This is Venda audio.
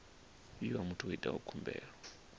fhiwa muthu o itaho khumbelo